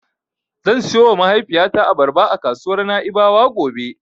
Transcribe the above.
Zan siyowa mahaifiyata Abarba a kasuwar Na'ibawa gobe.